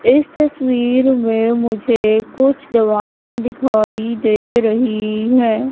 इस तस्वीर में मुझे कुछ दवाइयाँ दिखाई दे रहीं हैं।